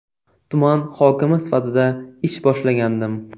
Tuman hokimi sifatida ish boshlagandim.